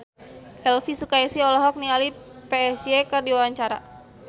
Elvy Sukaesih olohok ningali Psy keur diwawancara